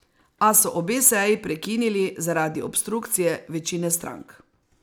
A so obe seji prekinili zaradi obstrukcije večine strank.